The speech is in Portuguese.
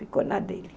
Ficou na dele.